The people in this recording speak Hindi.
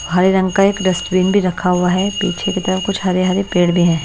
हरे रंग का एक डस्टबिन भी रखा हुआ है पीछे की तरफ कुछ हरे हरे पेड़ भी हैं।